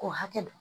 K'o hakɛ don